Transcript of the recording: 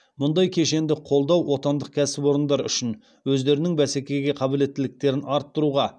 мұндай кешенді қолдау отандық кәсіпорындар үшін өздерінің бәсекеге қабілеттіліктерін арттыруға